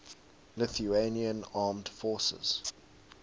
lithuanian armed forces